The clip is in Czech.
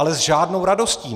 Ale s žádnou radostí.